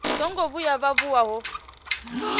songo vhuya vha vuwa vho